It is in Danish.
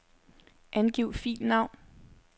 Angiv filnavn.